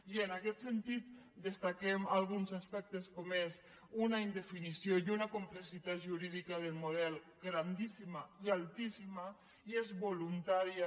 i en aquest sentit destaquem alguns aspectes com són una indefinició i una complexitat jurídica del model grandíssima i altíssima i és voluntària